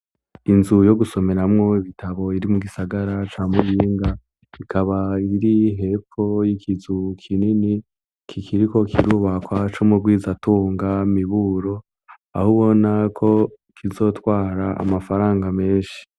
Inzu yo gusomeramwo ibitabo iri mu gisagara ca Muyinga. Ikaba iri hepfo y'ikizu kinini kikiriko kirubakwa, c'umugwizatunga Miburo, aho ubona ko kizotwara amafaranga menshi.